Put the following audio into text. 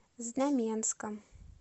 знаменском